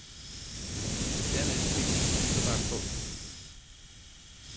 Dernæst fik vi en fiberdragt på.